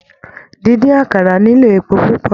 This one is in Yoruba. Díndín àkàrà nílò epo púpọ̀.